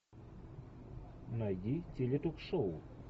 найди теле ток шоу